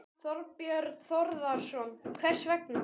Þorbjörn Þórðarson: Hvers vegna?